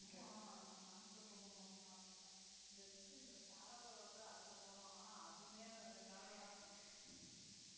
ஆஹ் நமக்கு transport ரொம்ப மோசமா இருக்குல best இந்த share auto வந்து அதுல போலாம் ஆனா அதுவுமே ரெண்டு நாள் வர்றாங்க